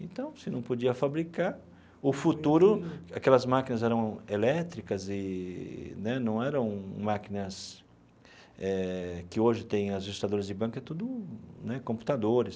Então, se não podia fabricar, o futuro... Aquelas máquinas eram elétricas eee né não eram máquinas eh que hoje têm registradoras de banco, é tudo né computadores.